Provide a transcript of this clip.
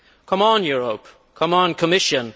Come on Europe, come on Commission